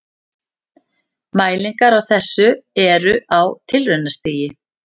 Mælingar á þessu eru á tilraunastigi.